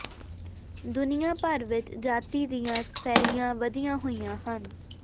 ਦੁਨੀਆਂ ਭਰ ਵਿਚ ਜਾਤੀ ਦੀਆਂ ਫੈਲੀਆਂ ਵਧੀਆਂ ਹੋਈਆਂ ਹਨ